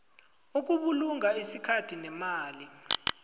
ukubulunga isikhathi nemali